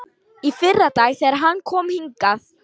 Í fyrradag, þegar hann kom hingað.